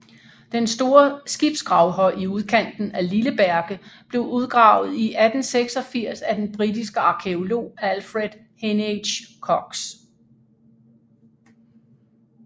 Den store skibsgravhøj i udkanten af Lilleberge blev udgravet i 1886 af den britiske arkæolog Alfred Heneage Cocks